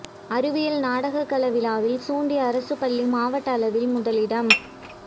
அறிவியல் நாடக கலை விழாவில் சூண்டி அரசு பள்ளி மாவட்ட அளவில் முதலிடம்